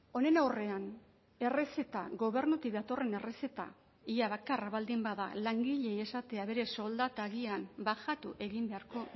honen aurrean errezeta gobernutik datorren errezeta ia bakarra baldin bada langileei esatea bere soldata agian bajatu egin beharko